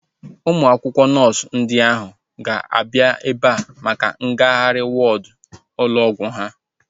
Ụmụ akwụkwọ nọọsu ndị ahu ga-abịa ebea maka ngagharị wọọdu ụlọ ọgwụ ha